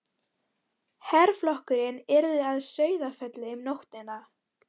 Herflokkurinn yrði að Sauðafelli um nóttina.